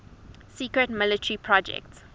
secret military project